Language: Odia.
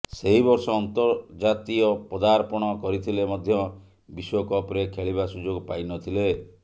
ସେହି ବର୍ଷ ଅନ୍ତର୍ଜାତୀୟ ପଦାର୍ପଣ କରିଥିଲେ ମଧ୍ୟ ବିଶ୍ୱକପ୍ରେ ଖେଳିବା ସୁଯୋଗ ପାଇ ନ ଥିଲେ